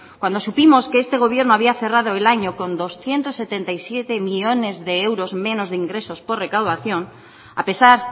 cuando supimos que este gobierno había cerrado el año con doscientos setenta y siete millónes de euros menos de ingresos por recaudación a pesar